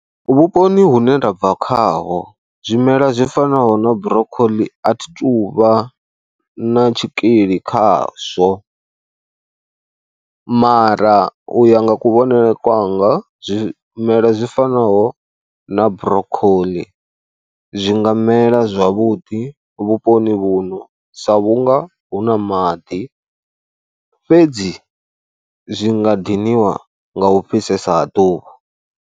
Vhuponi hune nda bva khaho zwimela zwi fanaho na Broccoli a thi tou vha na tshikili khazwo mara u ya nga kuvhonele kwanga, zwimela zwi fanaho na Brokhoḽi zwi nga mela zwavhuḓi vhuponi vhuno sa vhunga hu na maḓi fhedzi zwi nga diniwa nga u fhisesa ḓuvha.